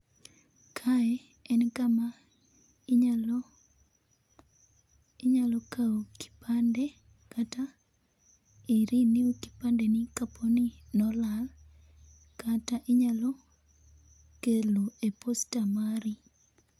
Kae en kama inyalo inyalo kao kipande kata i renew kipande ni kaponi ne olal kata inyalo kelo e posta mari